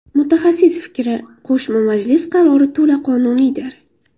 Mutaxassis fikri: Qo‘shma majlis qarori to‘la qonuniydir.